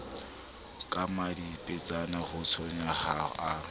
ka mmadiepetsana watshomong ha a